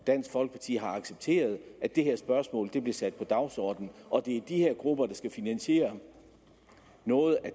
dansk folkeparti har accepteret at det her spørgsmål bliver sat på dagsordenen og at det er de her grupper der skal finansiere noget af